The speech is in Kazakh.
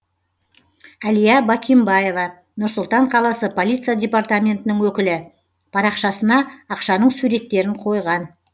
әлия бакимбаева нұр сұлтан қаласы полиция департаментінің өкілі парақшасына ақшаның суреттерін қойған